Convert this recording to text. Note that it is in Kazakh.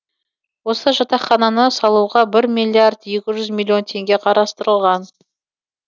осы жатақхананы салуға бір миллиард екі жүз миллион теңге қарстырылған